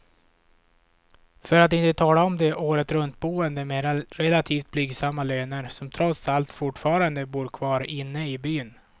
För att inte tala om de åretruntboende med relativt blygsamma löner, som trots allt fortfarande bor kvar inne i byn.